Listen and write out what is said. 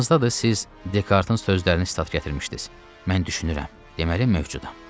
Yadınızdadır siz Dekartın sözlərini stat gətirmişdiz: “Mən düşünürəm, deməli mövcudam.”